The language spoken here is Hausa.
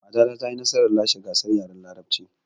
Matata ta yi nasarar lashe gasar yaren larabcin